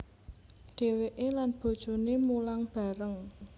Dheweke lan bojoné mulang bareng